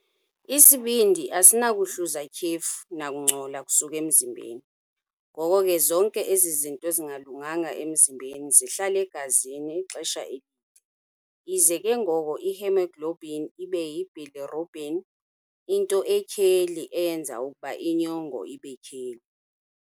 Isibindi asinakuhluza tyhefu nakungcola kusuka emzimbeni, ngoko ke zonke ezi zinto zingalunganga emzimbeni zihlala egazini ixesha elide. Ize ke ngoko ihemoglobin ibe yibilirubin, into etyheli eyenza ukuba inyongo ibetyheli.